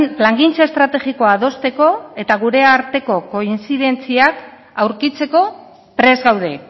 plangintza estrategikoa adosteko eta gure arteko kointzidentziak aurkitzeko prest gaude